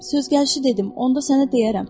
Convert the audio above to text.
Söz gəlişi dedim, onda sənə deyərəm.